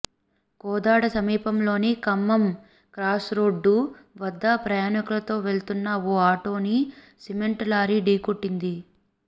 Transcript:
కోదాడ సమీపంలోని ఖమ్మం క్రాస్రోడ్డు వద్ద ప్రయాణికులతో వెళ్తున్న ఓ ఆటోను సిమెంట్ లారీ ఢీకొట్టింది